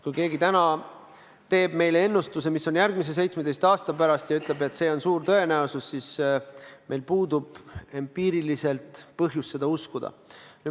Kui keegi täna teeb meile ennustuse, mis toimub järgmise 17 aasta pärast, ja ütleb, et see on suur tõenäosus, siis meil puudub empiiriliselt põhjus seda uskuda.